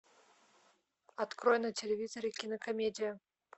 открой на телевизоре кинокомедию